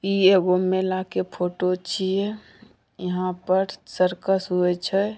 इ एक गो मेला के फोटो छिए यहाँ पर सर्कस होए छै |